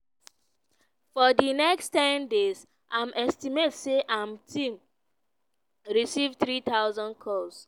for di next ten days im estimate say im team receive 3000 calls.